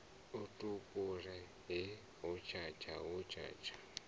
a tupule ahe hotshatsha hotshatsha